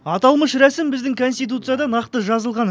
аталмыш рәсім біздің конституцияда нақты жазылған